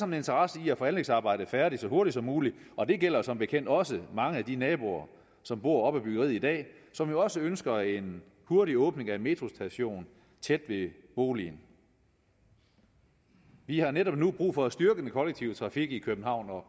en interesse i at få anlægsarbejdet færdigt så hurtigt som muligt og det gælder som bekendt også mange af de naboer som bor op ad byggeriet i dag og som jo også ønsker en hurtig åbning af en metrostation tæt ved boligen vi har netop nu brug for at styrke den kollektive trafik i københavn og